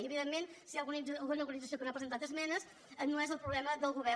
i evidentment si hi ha alguna organització que no ha presentat esmenes no és el problema del govern